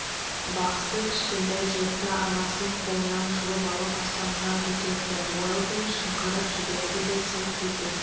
бақсы кішкентай джекті анасының қолынан жұлып алып аспанға көтерді уэлдон шыңғырып жіберді де сылқ ете